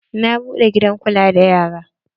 Na buɗe gidan kula da yara.